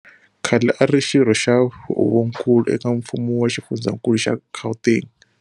Khale a ri Xirho xa Huvonkulu eka mfumo wa xifundzankulu xa Gauteng.